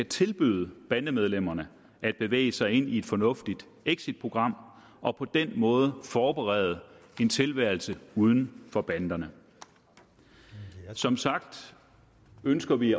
tilbyde bandemedlemmerne at bevæge sig ind i et fornuftigt exitprogram og på den måde forberede en tilværelse uden for banderne som sagt ønsker vi